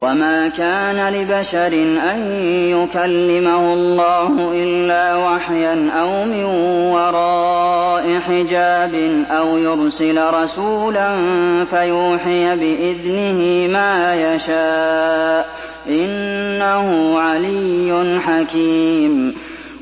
۞ وَمَا كَانَ لِبَشَرٍ أَن يُكَلِّمَهُ اللَّهُ إِلَّا وَحْيًا أَوْ مِن وَرَاءِ حِجَابٍ أَوْ يُرْسِلَ رَسُولًا فَيُوحِيَ بِإِذْنِهِ مَا يَشَاءُ ۚ إِنَّهُ عَلِيٌّ حَكِيمٌ